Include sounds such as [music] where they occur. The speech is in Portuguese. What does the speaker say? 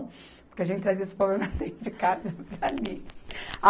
Porque a gente trazia os problemas [laughs] de casa para ali